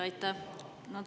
Aitäh!